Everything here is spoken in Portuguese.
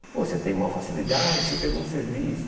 Pô, você tem uma facilidade, você pegou o serviço.